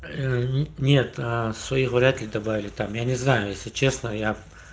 нет своих вряд ли добавили там я не знаю если честно я